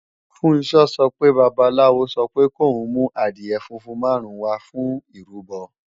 Funṣọ́ sọ pé babaláwo sọ pé kòún mú adìẹ funfun máàrún wá fún ìrúbọ